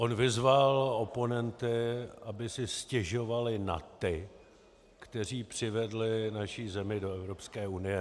On vyzval oponenty, aby si stěžovali na ty, kteří přivedli naši zemi do Evropské unie.